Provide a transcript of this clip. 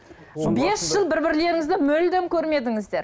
бес жыл бір бірлеріңізді мүлдем көрмедіңіздер